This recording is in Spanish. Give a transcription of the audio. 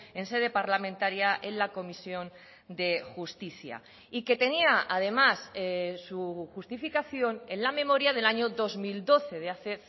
en sede parlamentaria en la comisión de justicia y que tenía además su justificación en la memoria del año dos mil doce de hace